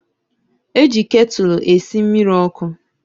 Eji ketụlụ esi mmiri ọkụ